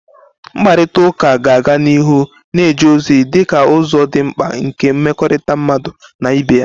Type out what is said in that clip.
Mkparịta ụka ga-aga n'ihu na-eje ozi dịka ụzọ dị mkpa nke mmekọrịta mmadụ na ibe ya.